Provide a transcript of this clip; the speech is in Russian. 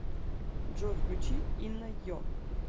джой включи инна йо